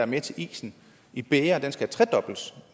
med til isen i bægeret skal tredobles